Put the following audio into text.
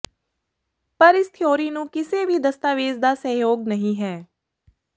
ਪਰ ਇਸ ਥਿਊਰੀ ਨੂੰ ਕਿਸੇ ਵੀ ਦਸਤਾਵੇਜ਼ ਦਾ ਸਹਿਯੋਗ ਨਹੀ ਹੈ